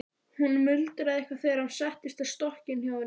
Hún muldraði eitthvað þegar hann settist á stokkinn hjá henni.